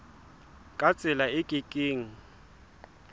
ka tsela e ke keng